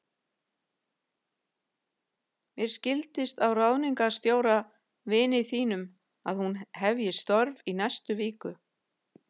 Mér skildist á ráðningarstjóra, vini þínum, að hún hefji störf í næstu viku.